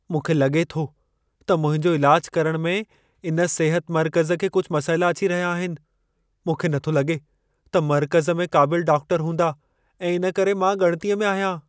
मूंखे लॻे थो त मुंहिंजो इलाज करणु में इन सिहत मर्कज़ खे कुझु मसइला अची रहिया आहिनि। मूंखे नथो लगे॒ त मर्कज़ में क़ाबिल डॉक्टर हूंदा ऐं इन करे मां ॻणिती में आहियां।